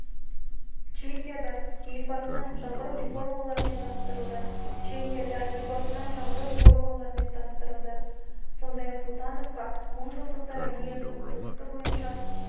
чехияда елбасының жаңғыру реформаларымен таныстырылды чехияда елбасының жаңғыру реформаларымен таныстырылды сондай-ақ сұлтановқа мыңжылдықтар аллеясының құрылысы бойынша